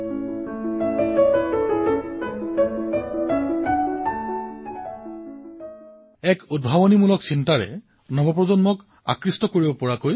ৰিপুদমন জী আপোনাৰ সৈতে কথা পাতি মোৰ খুব ভাল লাগিব আৰু আপুনি এক অতিশয় উদ্ভাৱনী ধৰণে আৰু বিশেষকৈ যুৱচামে ভাল পোৱাকৈ এই কাৰ্যসূচী প্ৰস্তুত কৰিলে